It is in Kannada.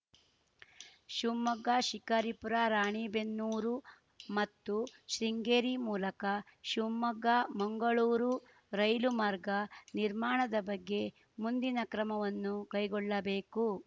ಶಿವಮೊಗ್ಗಶಿಕಾರಿಪುರರಾಣಿಬೆನ್ನೂರು ಮತ್ತು ಶೃಂಗೇರಿ ಮೂಲಕ ಶಿವಮೊಗ್ಗಮಂಗಳೂರು ರೈಲು ಮಾರ್ಗ ನಿರ್ಮಾಣದ ಬಗ್ಗೆ ಮುಂದಿನ ಕ್ರಮಗಳನ್ನು ಕೈಗೊಳ್ಳಬೇಕು